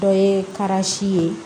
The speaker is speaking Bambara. Dɔ ye ye